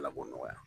Ala ko nɔgɔya